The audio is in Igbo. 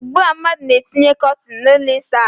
Ugbu a ndị mmadụ na etinye kọtin na ụlọ ịsa ahụ.